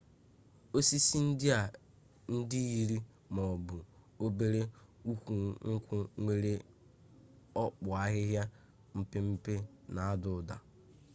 osisi ndia ndi yiri oburu obere ukwu nkwu nwere okpu ahihia mpipi na adu-adu